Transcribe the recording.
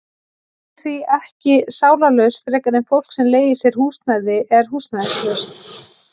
Hann er því ekki sálarlaus frekar en fólk sem leigir sér húsnæði er húsnæðislaust.